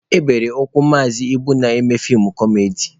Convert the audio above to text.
E bere ụkwụ Maazị Ibu na-eme feem kọmedi.